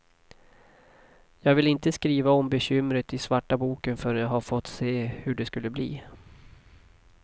Jag ville inte skriva om bekymret i svarta boken förrän jag hade fått se hur det skulle bli.